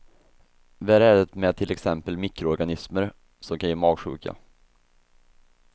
Värre är det med till exempel mikroorganismer, som kan ge magsjuka.